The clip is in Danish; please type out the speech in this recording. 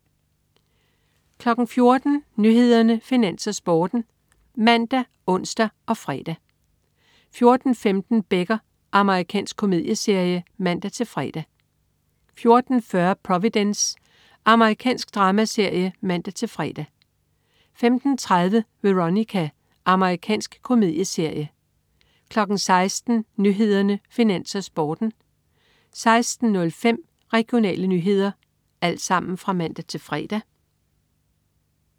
14.00 Nyhederne, Finans, Sporten (man-ons og fre) 14.15 Becker. Amerikansk komedieserie (man-fre) 14.40 Providence. Amerikansk dramaserie (man-fre) 15.30 Veronica. Amerikansk komedieserie (man-fre) 16.00 Nyhederne, Finans, Sporten (man-fre) 16.05 Regionale nyheder (man-fre)